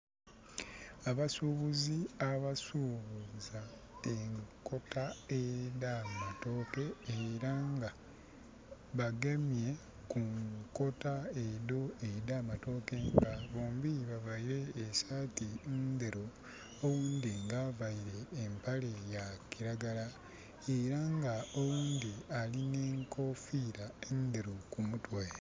Abasuubuzi abasuubuza enkota edha matooke era nga bagemye ku nkota edho edha matooke nga bombi bavaire esaati ndheru, owundi nga avaire empale ya kiragala, era nga owundi alina enkofiira endheru kumutwe.